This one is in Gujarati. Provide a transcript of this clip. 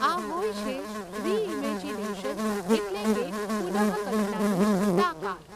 આ હોય છે રિઈમૅજિનેશન એટલે કે પુનઃકલ્પનાની તાકાત.